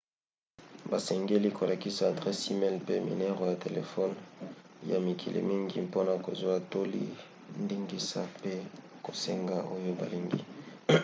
basengeli kolakisa adrese e-mail pe nimero ya telefone ya mikili mingi mpona kozwa toli/ndingisa pe kosenga oyo balingi